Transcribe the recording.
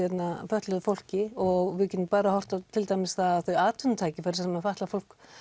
fötluðu fólki og við getum bara horft á til dæmis það að þau atvinnutækifæri sem fatlað fólk